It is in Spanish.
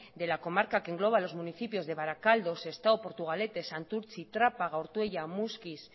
de la comarca que engloba los municipios de barakaldo sestao portugalete santurtzi trápaga ortuella muskiz